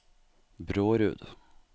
Brårud